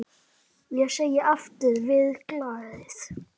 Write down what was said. Ég segi aftur: Verið glaðir.